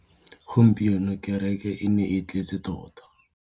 Gompieno kêrêkê e ne e tletse tota.